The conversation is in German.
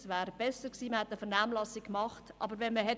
Es wäre besser gewesen, man hätte eine Vernehmlassung durchgeführt.